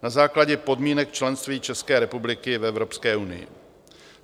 Na základě podmínek členství České republiky v Evropské unii.